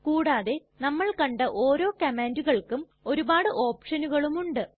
കൂടാതെ നമ്മൾ കണ്ട ഓരോ കംമാണ്ടുകൾക്കും ഒരുപാട് ഓപ്ഷനുകളും ഉണ്ട്